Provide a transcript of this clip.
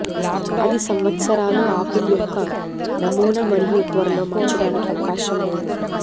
అది సంవత్సరాలు ఆపిల్ యొక్క నమూనా మరియు త్వరలో మార్చడానికి అవకాశం లేదు